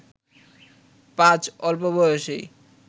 পাজ অল্প বয়সেই